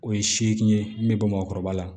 O ye seegin ye min bɛ bɔ bamakɔkɔrɔba la